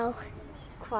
hvar